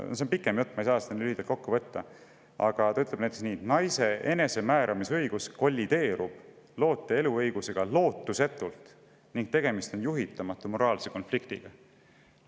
See on pikem jutt, ma ei saa seda lühidalt kokku võtta, aga ta ütleb näiteks nii: "Naise enesemääramisõigus kollideerub loote eluõigusega lootusetult ning tegemist on juhitamatu moraalse konfliktiga.